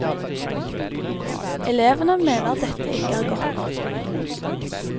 Elevene mener dette ikke er godt nok.